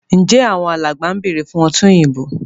Njé Àwọn alàgbà bẹrẹ fún ọtí òyìnbó?